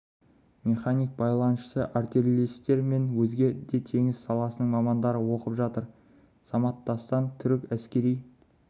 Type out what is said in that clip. механик байланысшы артиллеристер мен өзге де теңіз саласының мамандары оқып жатыр самат дастан түрік әскери